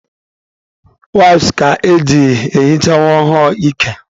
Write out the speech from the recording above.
Waịps ka eji ehicha nwa ọhụrụ ike.